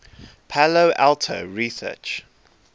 palo alto research